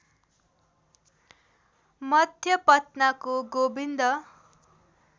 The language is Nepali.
मध्य पटनाको गोविन्द